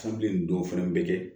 Sanbile nin dɔw fana bɛ kɛ